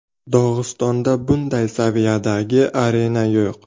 Dog‘istonda bunday saviyadagi arena yo‘q.